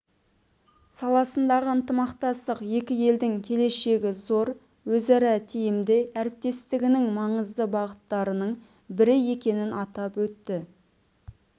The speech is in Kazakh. саласындағы ынтымақтастық екі елдің келешегі зор өзара тиімді әріптестігінің маңызды бағыттарының бірі екенін атап өтті